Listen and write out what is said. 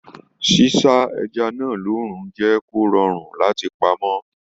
S'isa ẹja náà lóorun jẹ kó rọrùn láti pamọ́.